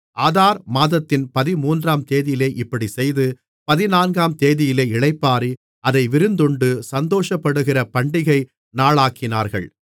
ஆதார் மாதத்தின் பதிமூன்றாம்தேதியிலே இப்படிச் செய்து பதினான்காம்தேதியிலே இளைப்பாறி அதை விருந்துண்டு சந்தோஷப்படுகிற பண்டிகை நாளாக்கினார்கள்